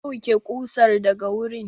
Ku ɗauke ƙusar daga wurin!